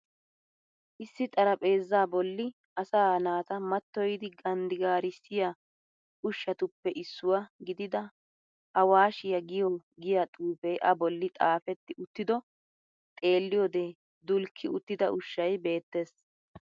Issi xaraphpheeza bolli asaa naata matyoyidi ganddigaarissiya ushshatuppe issuwa gidida awashshiya giya xuufee a bolli xafetti uttido xeelliyode dulkki uttida ushshay beettees.